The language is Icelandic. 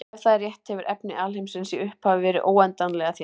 Ef það er rétt hefur efni alheimsins í upphafi verið óendanlega þétt.